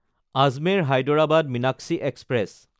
আজমেৰ–হায়দৰাবাদ Meenakshi express